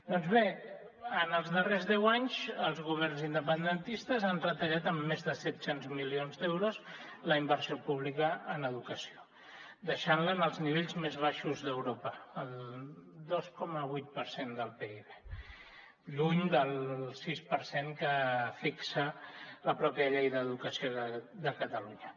doncs bé en els darrers deu anys els governs independentistes han retallat en més de set cents milions d’euros la inversió pública en educació deixant la en els nivells més baixos d’europa el dos coma vuit per cent del pib lluny del sis per cent que fixa la mateixa llei d’educació de catalunya